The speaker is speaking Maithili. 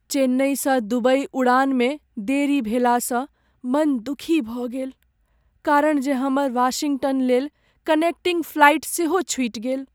चेन्नइसँ दुबइ उड़ानमे देरी भेलासँ मन दुखी भऽ गेल कारण जे हमर वाशिंगटन लेल कनेक्टिंग फ्लाइट सेहो छूटि गेल।